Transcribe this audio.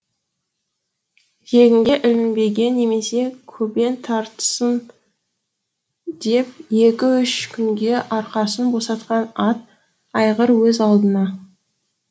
жегінге ілінбеген немесе көбең тартынсын деп екі үш күнге арқасын босатқан ат айғыр өз алдыңа